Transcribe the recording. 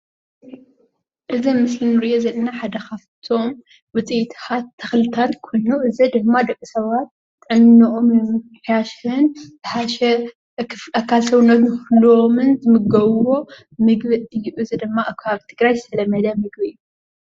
እዚ ኣብ ምስሊ እንሪኦ ዘለና ሓደ ኻፍቶም ውፅኢታት ተኽልታትን ኾይኖም እዚ ድማ ደቃሰባት ጥዕኖኦሞ ንንምሕያሽን ዝሓሽ ናይ ክፍሊ ኣካል ሰውነት ክህሎዎምን ዝምገብዎ ምግቢ እዩ። እዚ ድማ ኣብ ከባቢ ትግራይ ዝተለመደ ምግቢ እዩ።